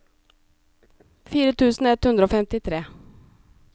fire tusen ett hundre og femtitre